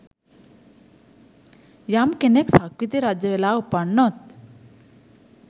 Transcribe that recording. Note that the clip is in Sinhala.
යම් කෙනෙක් සක්විති රජවෙලා උපන්නොත්